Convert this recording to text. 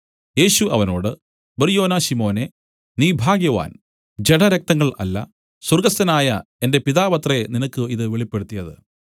യേശു അവനോട് ബർയോനാ ശിമോനെ നീ ഭാഗ്യവാൻ ജഡരക്തങ്ങൾ അല്ല സ്വർഗ്ഗസ്ഥനായ എന്റെ പിതാവത്രെ നിനക്ക് ഇതു വെളിപ്പെടുത്തിയത്